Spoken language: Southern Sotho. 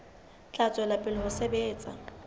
tla tswela pele ho sebetsa